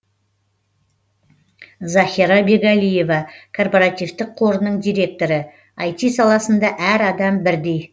захира бегалиева корпоративтік қорының директоры іт саласында әр адам бірдей